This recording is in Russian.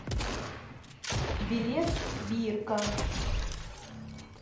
билет бирка